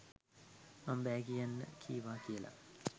මම බෑ කියන්න කීවා කියලා.